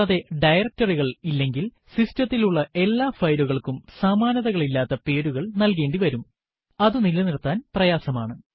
കൂടാതെ directory കൾ ഇല്ലെങ്കിൽ സിസ്റ്റത്തിൽ ഉള്ള എല്ലാ ഫയലുകൾക്കും സമാനതകളില്ലാത്ത പേരുകൾ നൽകേണ്ടിവരും അതു നിലനിർത്താൻ പ്രയാസമാണ്